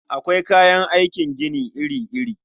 Akwai kayan aikin gini iri-iri.